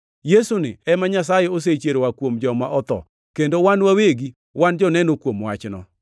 Yesuni ema Nyasaye osechiero oa kuom joma otho, kendo wan wawegi wan joneno kuom wachno.